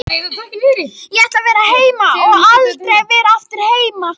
Vatnsleki í húsi héraðsdóms